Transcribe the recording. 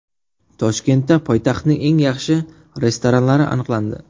Toshkentda poytaxtning eng yaxshi restoranlari aniqlandi.